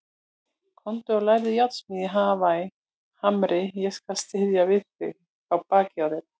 Komdu og lærðu járnsmíði í Hamri, ég skal styðja við bakið á þér.